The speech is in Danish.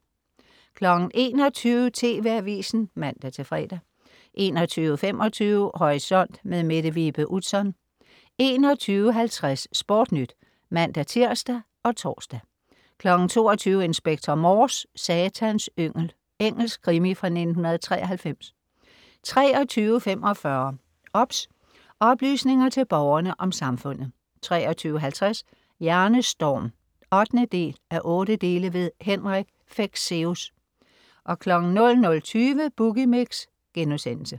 21.00 TV Avisen (man-fre) 21.25 Horisont. Mette Vibe Utzon 21.50 SportNyt (man-tirs og tors) 22.00 Inspector Morse: Satans yngel. Engelsk krimi fra 1993 23.45 OBS. Oplysninger til Borgerne om Samfundet 23.50 Hjernestorm 8:8. Henrik Fexeus 00.20 Boogie Mix*